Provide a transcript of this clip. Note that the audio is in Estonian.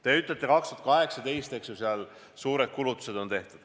Te ütlete, et 2018 olid suured kulutused tehtud.